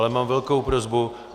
Ale mám velkou prosbu.